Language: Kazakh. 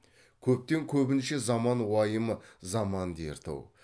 көптен көбінше заман уайымы заман дерті ау